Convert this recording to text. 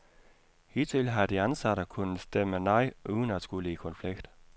Hidtil har de ansatte kunnet stemme nej uden at skulle i konflikt.